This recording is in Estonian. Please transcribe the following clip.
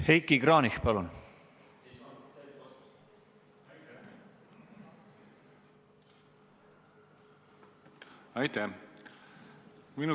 Heiki Kranich, palun!